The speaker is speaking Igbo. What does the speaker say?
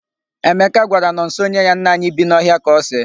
Emeka gwara Nọnso nye ya nnaanyị bi n'ọhịa ka o see.